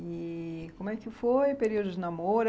E como é que foi o período de namoro?